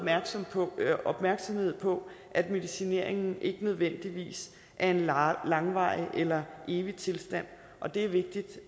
opmærksomhed på at medicineringen ikke nødvendigvis er en langvarig eller evig tilstand og det er vigtigt